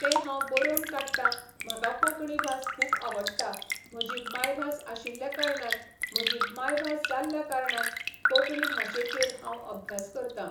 तें हांव बरोवन काडटां म्हाका कोंकणी भास खूब आवडटा म्हजी मायभास आशिल्ल्या कारणान म्हजी मांयभास जाल्ल्या कारणान कोंकणी भाशेचेर हांव अभ्यास करतां